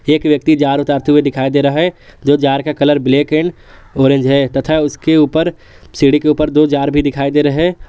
एक व्यक्ति जार उतारते हुए दिखाई दे रहा है जो जार का कलर ब्लैक एंड ऑरेंज है तथा उसके ऊपर सीढ़ी के ऊपर दो जार भी दिखाई दे रहे हैं।